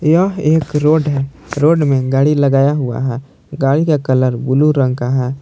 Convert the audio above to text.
यह एक रोड है रोड में गाड़ी लगाया हुआ है गाड़ी का कलर ब्लू रंग का है।